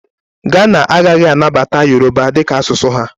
Ghana agaghị anabata Yoroba dị ka asụsụ ha.